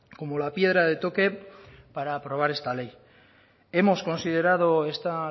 como la piedra de toque para aprobar esta ley hemos considerado esta